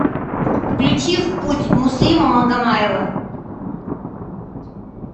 включи в путь муслима магомаева